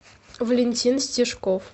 валентин стежков